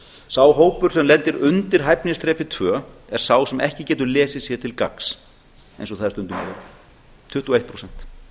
sá hópur sem lendir undir hæfnisþrepi tvö er sá sem ekki getur lesið sér til gagns eins og það er stundum orðað tuttugu og eitt prósent